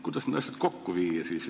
Kuidas need asjad siis kokku viia?